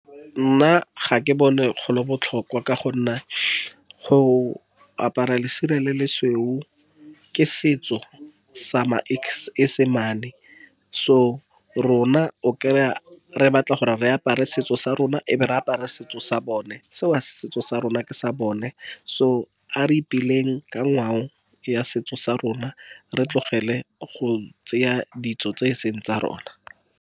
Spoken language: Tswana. Nna ga ke bone go le botlhokwa ka go nna, go apara lesire le le sweu ke setso sa maesemane so rona o kry-a, re batla gore re apara setso sa rona, e be re apara setso sa bone. Seo setso sa rona ke sa bone. So a re ipeleng ka ngwao ya setso sa rona re tlogele go tseya ditso tse e seng tsa rona.